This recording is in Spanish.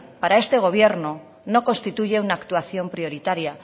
para este gobierno no constituye una actuación prioritaria